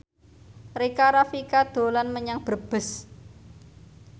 Rika Rafika dolan menyang Brebes